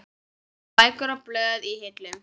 Bækur og blöð í hillum.